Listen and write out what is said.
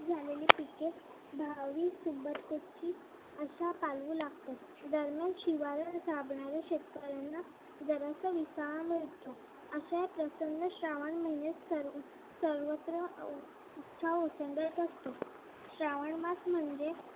अशा पालवी लागतात दरम्यान शिवाऱ्यात राबणाऱ्या शेतकऱ्यांना जरासा विसावा मिळतो. अश्या या प्रसन्न श्रावण महिन्यात सर्वत्र उत्साह ओसंडत असतो. श्रावणमास म्हणजे